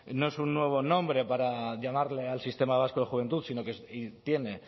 no es un nuevo nombre para llamarle al sistema vasco de juventud sino que tiene